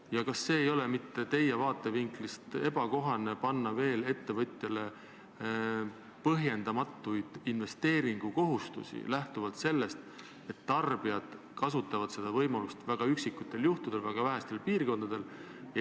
Ja kas teie vaatevinklist lähtudes ei oleks ebakohane panna ettevõtjale veel põhjendamatuid investeeringukohustusi, arvestades sellega, et tarbijad kasutavad seda võimalust väga üksikutel juhtudel ja väga vähestes piirkondades?